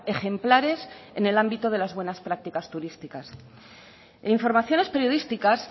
ejemplares en ámbito de las buenas prácticas turísticas en informaciones periodísticas